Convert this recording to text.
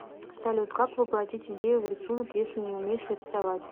салют как воплотить идею в рисунок если не умеешь рисовать